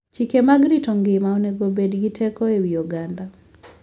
Chike mag rito ngima onego obed gi teko e wi oganda.